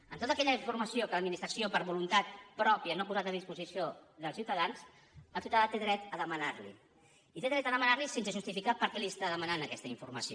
en tota aquella informació que l’administració per voluntat pròpia no ha posat a disposició dels ciutadans el ciutadà té dret a demanar la hi i té dret a demanar la hi sense justificar per què li està demanant aquesta informació